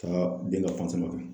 Ka den ka kɛ.